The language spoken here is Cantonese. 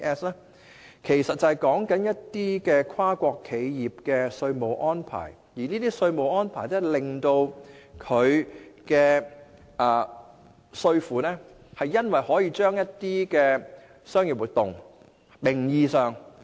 這其實是指跨國企業的稅務安排，即企業可安排在低稅率的區域進行一些名義上的商業活動。